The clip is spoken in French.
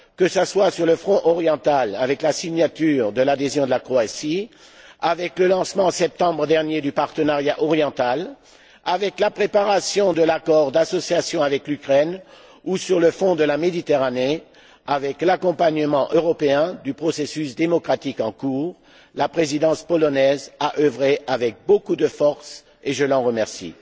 Que ce soit sur le front oriental, avec la signature de l'adhésion de la Croatie, avec le lancement, en septembre dernier, du partenariat oriental, avec la préparation de l'accord d'association avec l'Ukraine, ou sur le front de la Méditerranée, avec l'accompagnement européen du processus démocratique en cours, la Présidence polonaise a œuvré avec beaucoup d'énergie et je l'en remercie.